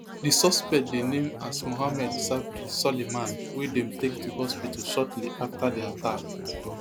di suspect dey named as mohamed sabry soliman wey dem take to hospital shortly afta di attack